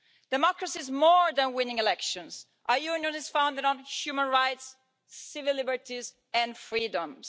Democracy is more than winning elections. Our union is founded on human rights, civil liberties and freedoms.